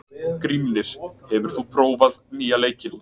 Grímnir, hefur þú prófað nýja leikinn?